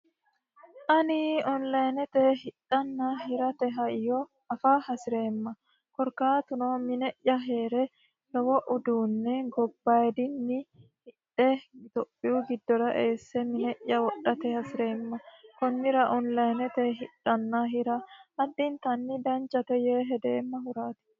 ani onlayinete hidhanna hirate hayo afa hasi'reemma korkaatuno mine'ya hee're lowo uduunne gobbayidinni hidhe itophiyu giddora eesse mine'ya wodhate hasi'reemma kunnira onlayinete hidhanna hira haddintanni dancate yee hedeemma huraati